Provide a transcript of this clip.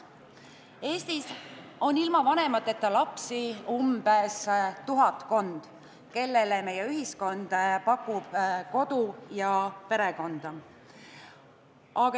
Eestis on ilma vanemateta lapsi tuhatkond, kellele meie ühiskond pakub kodu ja perekonda.